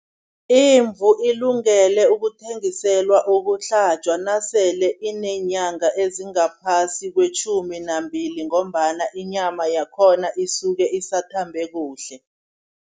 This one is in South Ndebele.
Izimvu ilungele ukuthengiselwa ukuhlatjwa nasele ineenyanga ezingaphasi kwetjhumi nambili ngombana inyama yakhona isuke isathambe kuhle.